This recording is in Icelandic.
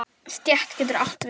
Stétt getur átt við